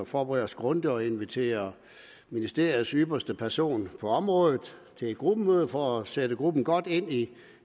forberede os grundigt og invitere ministeriets ypperste person på området til et gruppemøde for at sætte gruppen godt ind i